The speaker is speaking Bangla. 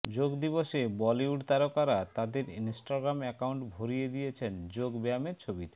যোগ দিবসে বলিউড তারকারা তাঁদের ইন্সটাগ্রাম অ্যাকাউন্ট ভরিয়ে দিয়েছেন যোগ ব্যায়ামের ছবিতে